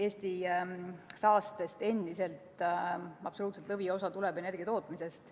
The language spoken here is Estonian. Eesti saastest endiselt absoluutne lõviosa tuleb energiatootmisest.